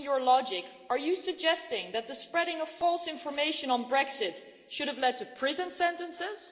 Following your logic, are you suggesting that the spreading of false information on Brexit should have led to prison sentences?